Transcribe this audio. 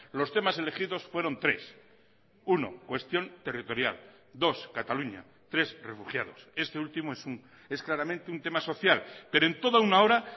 los temas elegidos fueron tres uno cuestión territorial dos cataluña tres refugiados este último es claramente un tema social pero en toda una hora